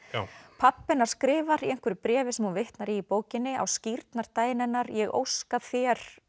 pabbi hennar skrifar í einhverju bréfi sem hún vitnar í í bókinni á skírnardaginn hennar ég óska þér